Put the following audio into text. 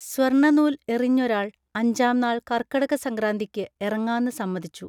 സ്വർണ്ണനൂൽ എറിഞ്ഞൊരാൾ അഞ്ചാംനാൾ കർക്കടകസംക്രാന്തിക്ക് എറങ്ങാന്ന് സമ്മതിച്ചു